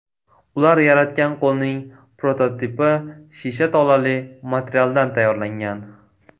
Ular yaratgan qo‘lning prototipi shisha tolali materialdan tayyorlangan.